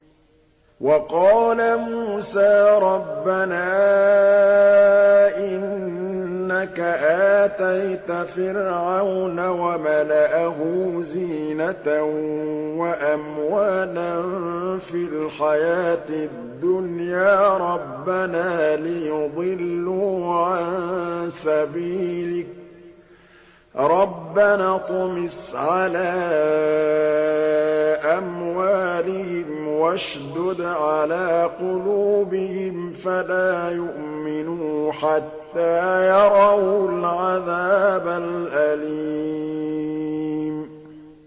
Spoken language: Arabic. وَقَالَ مُوسَىٰ رَبَّنَا إِنَّكَ آتَيْتَ فِرْعَوْنَ وَمَلَأَهُ زِينَةً وَأَمْوَالًا فِي الْحَيَاةِ الدُّنْيَا رَبَّنَا لِيُضِلُّوا عَن سَبِيلِكَ ۖ رَبَّنَا اطْمِسْ عَلَىٰ أَمْوَالِهِمْ وَاشْدُدْ عَلَىٰ قُلُوبِهِمْ فَلَا يُؤْمِنُوا حَتَّىٰ يَرَوُا الْعَذَابَ الْأَلِيمَ